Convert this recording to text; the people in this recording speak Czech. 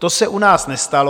To se u nás nestalo.